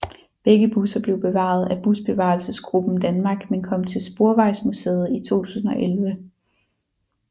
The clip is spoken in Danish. Begge busser blev bevaret af Busbevarelsesgruppen Danmark men kom til Sporvejsmuseet i 2011